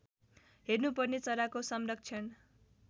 हेर्नुपर्ने चराको संरक्षण